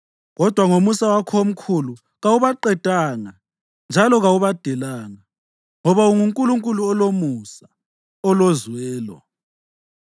Kodwa ngomusa wakho omkhulu kawubaqedanga njalo kawubadelanga, ngoba unguNkulunkulu olomusa, olozwelo.